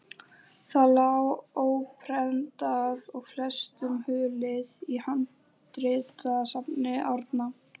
Það lá óprentað og flestum hulið í handritasafni Árna.